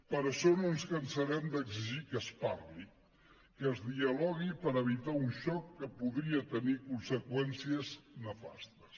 per això no ens cansarem d’exigir que es parli que es dialogui per evitar un xoc que podria tenir conseqüències nefastes